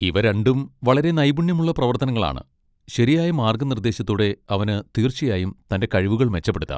ഇവ രണ്ടും വളരെ നൈപുണ്യമുള്ള പ്രവർത്തനങ്ങളാണ്, ശരിയായ മാർഗ്ഗനിർദ്ദേശത്തോടെ അവന് തീർച്ചയായും തന്റെ കഴിവുകൾ മെച്ചപ്പെടുത്താം.